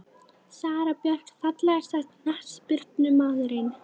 Sara Björk Fallegasti knattspyrnumaðurinn?